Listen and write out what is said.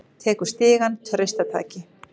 Tekur stigann traustataki.